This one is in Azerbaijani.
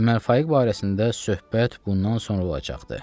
Ömər Faiq barəsində söhbət bundan sonra olacaqdır.